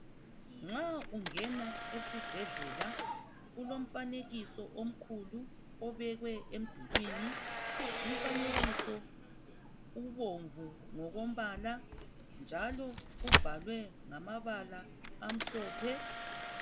Nxa ungena esibhedlela kulo mfanekiso omkhulu obekwe emdulwini. Umfanekiso ubomvu ngokombala, njalo ubhalwe ngamabala amhlophe.